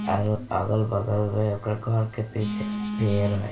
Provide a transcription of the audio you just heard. एगो अगल-बगल में ओकर घर के पीछे पेड़ हेय।